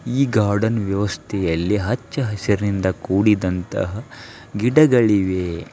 ಈ ಗಾರ್ಡನ್ ವ್ಯವಸ್ತೆಯಲ್ಲಿ ಹಚ್ಚ ಹಸಿರಿನಿಂದ ಕೂಡಿದಂತ ಗಿಡಗಳಿವೆ.